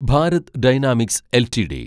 Bharat dynamics LTD